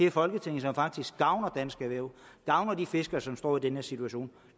i folketinget som faktisk gavner dansk erhverv gavner de fiskere som står i den her situation